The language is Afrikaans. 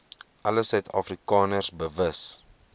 alle suidafrikaners bewus